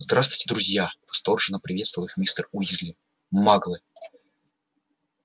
здравствуйте друзья восторженно приветствовал их мистер уизли маглы